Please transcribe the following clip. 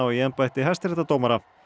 í embætti hæstaréttardómara